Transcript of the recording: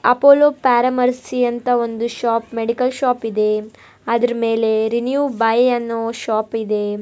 Apollo pharmacy ಅಂತ ಒಂದು shop medical ಶಾಪಿದೇಂ ಅದರ ಮೇಲೆ ರಿನ್ಯೂ ಬೈ ಅನ್ನೊ ಶಾಪಿದೇಂ .